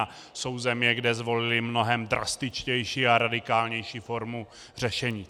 A jsou země, kde zvolily mnohem drastičtější a radikálnější formu řešení.